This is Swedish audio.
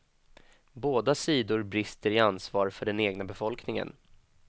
Båda sidor brister i ansvar för den egna befolkningen.